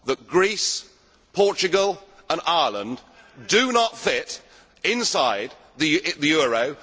Greece, Portugal and Ireland do not fit inside the euro.